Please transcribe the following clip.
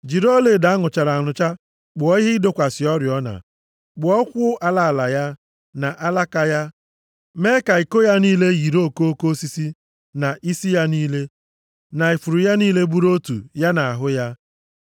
“Jiri ọlaedo a nụchara anụcha kpụọ ihe ịdọkwasị oriọna. Kpụọ ụkwụ ala ala ya, na alaka ya, mee ka iko ya niile yiri okoko osisi, na isi ya niile, na ifuru ya niile bụrụ otu ya na ahụ ya.